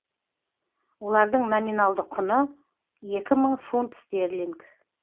олардың номиналды құны екі мың фунт стерлинг